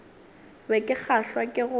be ke kgahlwa ke go